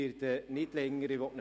Ich werde nicht länger sprechen.